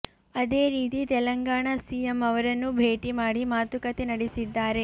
ಅದೇ ರೀತಿ ತೆಲಂಗಾಣ ಸಿಎಂ ಅವರನ್ನು ಭೇಟಿ ಮಾಡಿ ಮಾತುಕತೆ ನಡೆಸಿದ್ದಾರೆ